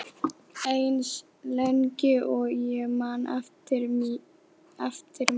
Eins lengi og ég man eftir mér.